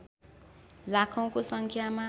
लाखौंको सङ्ख्यामा